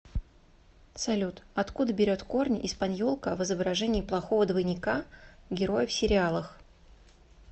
салют откуда берет корни эспаньолка в изображении плохого двойника героя в сериалах